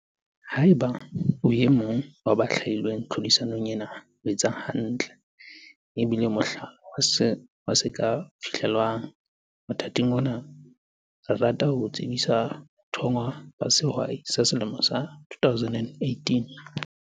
Haeba o e mong wa ba hlwailweng tlhodisanong ena, o etsa hantle, ebile o mohlala wa se ka fihlellwang. Mothating ona, re rata ho o tsebisa bathonngwa ba Sehwai sa Selemo sa 2018!